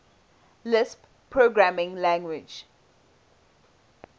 lisp programming language